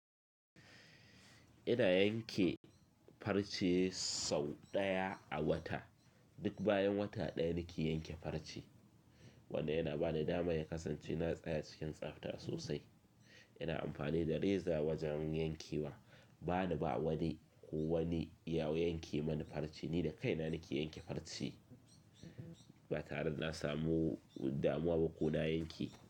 Ina yanke farce sau ɗaya a wata. Duk bayan wata ɗaya nake yanke farce, wanda yana bani dama ya kasance na tsaya cikin tsafta sosai. Ina amfani da reza wajen yankewa. Bana ba wani ko wani ya yanke mani farce, ni da kaina nake yanke farce, ba tare da na samu damuwa ko na yanke.